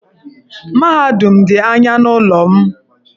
Mahadum m dị anya n'ụlọ m.